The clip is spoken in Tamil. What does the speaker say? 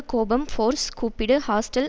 கோபம் ஃபோர்ஸ் கூப்பிடு ஹாஸ்டல்